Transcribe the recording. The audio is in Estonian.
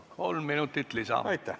Aitäh!